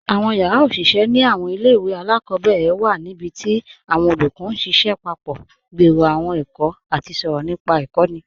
Awọn yara oṣiṣẹ ni awọn ilẹ̀-iwe aláàkọbẹ̀rẹ̀ wa nibíti awọn olúkọ̀ n ṣiṣẹ papọ̀, gbèrò awọn èkó, àti sọ̀rọ̀ nípa ikọ̀ni.